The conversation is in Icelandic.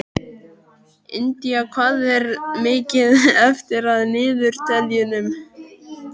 Indía, hvað er mikið eftir af niðurteljaranum?